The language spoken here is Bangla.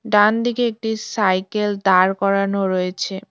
ডানদিকে একটি সাইকেল দাঁড় করানো রয়েছে।